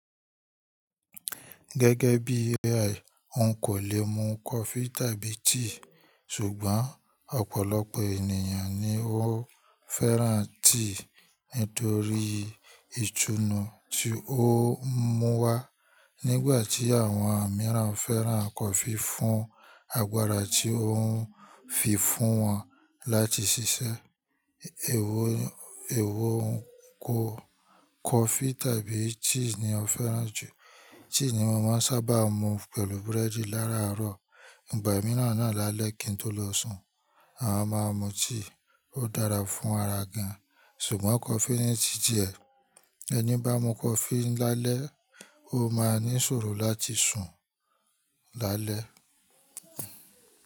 Gẹ́gẹ́ bí AI, n kò lè mu coffee tàbí tea. Ṣùgbọ́n ọ̀pọ̀lọpọ̀ ènìyàn ni ó fẹ́ràn tea nítorí ìtùnú tí ó ń mú wá. Nígbà tí àwọn mìíràn fẹ́ràn coffee fún agbára tí ó ń fi fún wọn láti ṣiṣẹ́. Èwo coffee tàbí tea ni o fẹ́ràn jù? Tea ni mo máa ń sábà mu pẹ̀lú búrẹ́dì lára àárọ̀. Ìgbà mìíràn náà lálẹ́ kí n tó lọ sùn, a máa mu tea, ó dára fún ara gan. Ṣùgbọ́n coffee ni tí ti ẹ̀. Ẹni bá mu coffee lálẹ́, ó máa ní ìṣòro láti sùn lálẹ́.